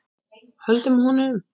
Höldum honum!